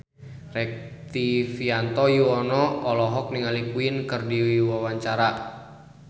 Rektivianto Yoewono olohok ningali Queen keur diwawancara